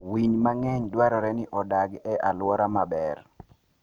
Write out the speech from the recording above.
Winy mang'eny dwarore ni odag e alwora maber.